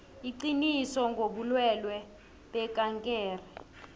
iqiniso ngobulwelwe bekankere